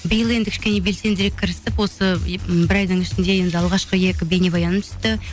биыл енді кішкене белсендірек кірістік осы м бір айдың ішінде енді алғашқы екі бейнебаяным түсті